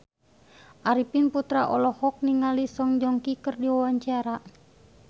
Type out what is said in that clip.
Arifin Putra olohok ningali Song Joong Ki keur diwawancara